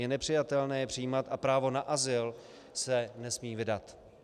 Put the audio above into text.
Je nepřijatelné je přijímat a právo na azyl se nesmí vydat.